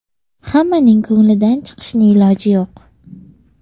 Hammaning ko‘nglidan chiqishni iloji yo‘q.